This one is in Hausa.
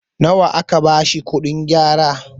nawa aka bashi kuɗin gyara?